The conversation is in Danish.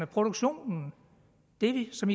produktioner det som